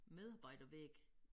Medarbejdervæg